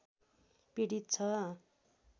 पिडित छ